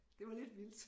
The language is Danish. Det var lidt vildt